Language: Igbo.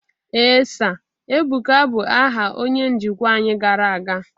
ee Sir, Ebuka bụ aha onye njikwa anyị gara aga